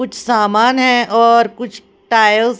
कुछ सामान है और कुछ टाइल्स --